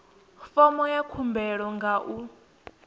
fomo ya khumbelo nga u